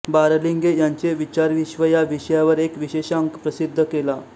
बारलिंगे यांचे विचारविश्व या विषयावर एक विशेषांक प्रसिद्ध केला